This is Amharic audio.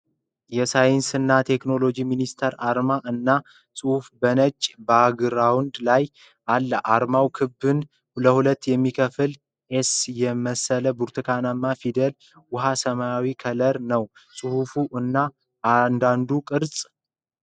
የሳይንስ እና ቴክኖሎጂ ሚኒስቴር አርማ እና ፅሑፍ በ ነጭ ባግራውን ድ ላይ አለ ፤ አርማውን ክቡን ለሀለት የሚከፍል ኤስ የመሰለ ብርቱካናማ ፊደል ፤ ውኃ ሰማያዊ ከለር ነው ፅሑፉ እና አንዳንዱ ቅርፅ